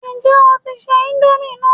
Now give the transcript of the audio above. Ǹjẹ́ o tí ń se íńdómì náà?